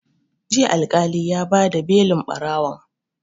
Jiya Alƙali ya ba da belin ɓarawon